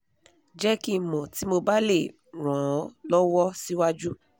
jẹ́ kí n mọ̀ tí mo bá lè ran ọ́ lọ́wọ́ síwájú